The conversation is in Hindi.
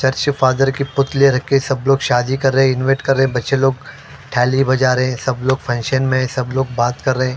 चर्च फादर की पुतलियाँ रखी हैं सब लोग शादी कर रहे हैं इनवाईट कर रहे हैं बच्चे लोग थाली बजा रहे हैं सब लोग फंक्शन में सब लोग बात कर रहे हैं।